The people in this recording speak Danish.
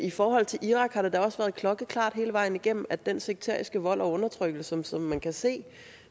i forhold til irak har det da også været klokkeklart hele vejen igennem at den sekteriske vold og undertrykkelse som man kan se